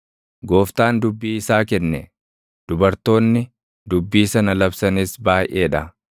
Gooftaan dubbii isaa kenne; dubartoonni dubbii sana labsanis baayʼee dha: